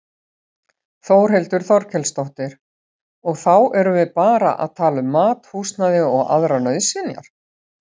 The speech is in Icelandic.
Þórhildur Þorkelsdóttir: Og þá erum við bara að tala um mat, húsnæði og aðrar nauðsynjar?